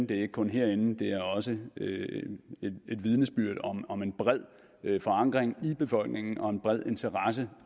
det er ikke kun herinde det er også et vidnesbyrd om om en bred forankring i befolkningen og en bred interesse